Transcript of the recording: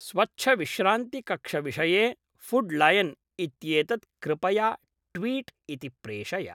स्वच्छविश्रान्तिकक्षविषये food lion इत्येतत् कृपया tweet इति प्रेषय